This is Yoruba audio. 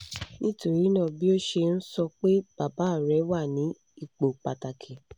nitorina bi o ṣe n sọ pe baba rẹ wa ni ipo pataki